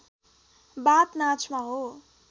बाथ नाचमा हो